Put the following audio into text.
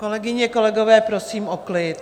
Kolegyně, kolegové, prosím o klid.